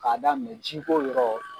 K'a daminɛ jiko yɔrɔ.